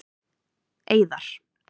Eiðar